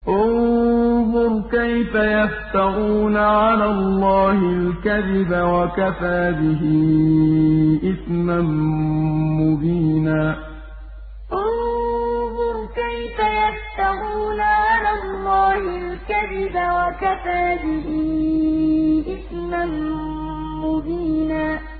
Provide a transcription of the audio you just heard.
انظُرْ كَيْفَ يَفْتَرُونَ عَلَى اللَّهِ الْكَذِبَ ۖ وَكَفَىٰ بِهِ إِثْمًا مُّبِينًا انظُرْ كَيْفَ يَفْتَرُونَ عَلَى اللَّهِ الْكَذِبَ ۖ وَكَفَىٰ بِهِ إِثْمًا مُّبِينًا